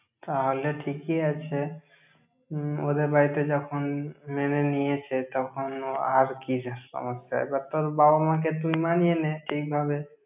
তাহলে ঠিকই আছে। উম ওদের বাড়িতে যখন মেনে নিয়েছে, তখন আর কিসের সমস্যা! এবার তোর বাবা মা-কে তুই মানিয়ে নে, ঠিক ভাবে।